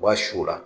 U b'a su u la